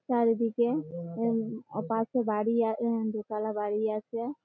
চারিদিকে ওপাশে বাড়ি আ দোতালা বাড়ি আছে।